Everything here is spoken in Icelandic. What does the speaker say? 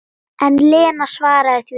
En Lena svaraði því ekki.